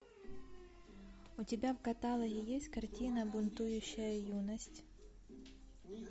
у тебя в каталоге есть картина бунтующая юность